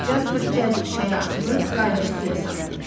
Jasper cəld çaya atılıb qayığı suya saldı.